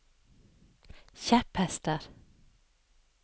kjepphester